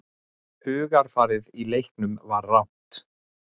Hugarfarið í leiknum var rangt.